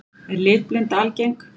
Er litblinda algeng?